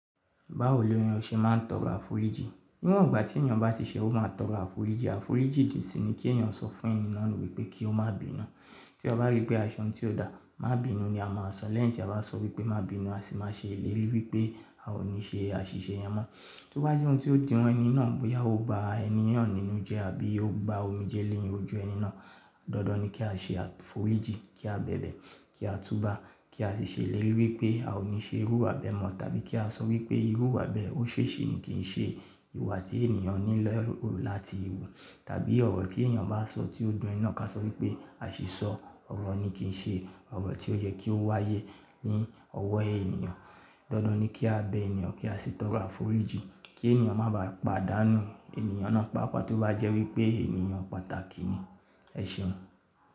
Báwo ni ènìyàn ṣe máa ń tọrọ àforíjì? Níwọ̀n ìgbà tí ènìyàn bá ti ṣẹ́, ó máa tọrọ àforíjì. Àforíjì dì sí ní kí ènìyàn sọ fún ẹni náà wípé kí ó má bínú. Tí a bá rí pé a se oun tí ó dà, má bínú ni a máa sọ. Lẹ́yìn tí a bá sọ wípé má bínú, a sì máa ṣe ìlérí wípé a ò ní ṣe àṣìṣe yẹn mọ́. Tí ó bá jẹ́ ohun tí ó dun ẹni náà bóyá ó ba ẹni yẹn nínú jẹ àbí ó gba omijé ni ojú ẹni náà, dandan ni kí a ṣe àforíjì, kí a bẹ̀bẹ̀, kí a túba, kí a sì ṣèlérí wípé a ò ní ṣe irú iwa beẹ̀ mọ́ tàbí kí a sọ wípé irú iwa bẹ̀e o ṣesi ṣì ní kì ń ṣe ìwà tí ènìyàn ní loka láti wù. Tàbí ọ̀rọ̀ tí ènìyàn bá sọ tí ó dún eni naa ká sọ wípé, asìsọ ọ̀rọ̀ ní kì ń ṣe ọ̀rọ̀ tí ó yẹ kí ó wáyé ní ọwọ́ ènìyàn. Dandan ni kí a bẹ eeyan, kí a sì tọrọ àforíjì kí ènìyàn má bàá pàdánù ènìyàn náà, pàápàá tí ó bá jẹ́ wípé ènìyàn pàtàkì ni. E seun.